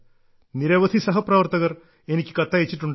നിരവധി സഹപ്രവർത്തകർ എനിക്ക് കത്തയച്ചിട്ടുണ്ട്